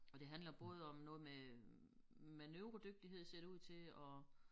Og det handler både om noget med hm manøvredygtighed ser det ud til og